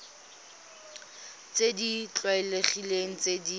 tse di tlwaelegileng tse di